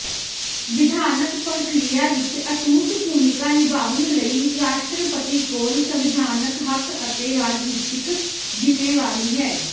ਵਿਧਾਨਕ ਪ੍ਰਕਿਰਿਆ ਵਿਚ ਅਟੁੱਟ ਭੂਮਿਕਾ ਨਿਭਾਉਣ ਲਈ ਰਾਸ਼ਟਰਪਤੀ ਕੋਲ ਸੰਵਿਧਾਨਕ ਹੱਕ ਅਤੇ ਰਾਜਨੀਤੀਕ ਜ਼ਿੰਮੇਵਾਰੀ ਹੈ